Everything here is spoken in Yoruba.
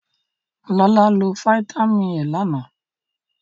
Lọlá lo fataímìn E lánàá.